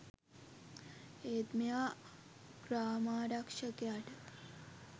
ඒත් මෙයා ග්‍රාමාරක්ෂකයට